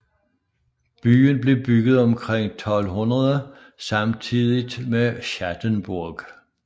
Byen blev bygget omkring 1200 samtidigt med Schattenburg